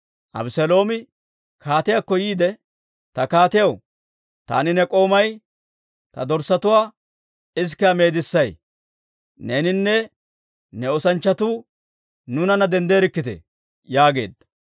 Abeseeloomi kaatiyaakko yiide, «Ta kaatiyaw, taani ne k'oomay ta dorssatuwaa isikiyaa meedissay; neeninne ne oosanchchatuu nuunanna denddeerikkite!» yaageedda.